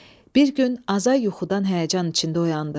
Bir gün Azay yuxudan həyəcan içində oyandı.